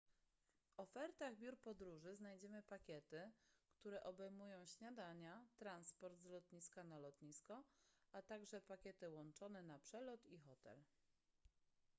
w ofertach biur podróży znajdziemy pakiety które obejmują śniadania transport z lotniska/na lotnisko a także pakiety łączone na przelot i hotel